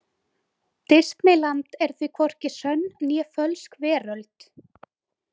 Disneyland er því hvorki sönn né fölsk veröld.